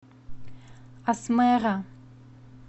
асмэра